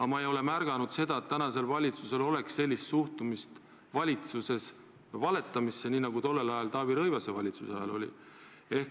Aga ma ei ole märganud, et tänane valitsus suhtuks valetamisse nii, nagu suhtuti tollel ajal, Taavi Rõivase valitsuse ajal.